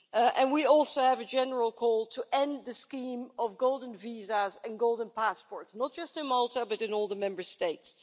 And we also have a general call to end the scheme of golden visas and golden passports, not just in Malta but in all Member States.